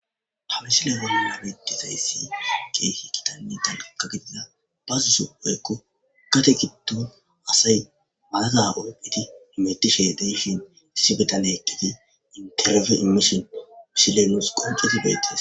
Ha misile bolona midizayssi ha geyhi kitanni danaka gidida ba zusu oykko kate giddu asay malaza orphiti metishe deyshin issi bitane ekkidi interfe imishin wusshilenus qunceti beettes.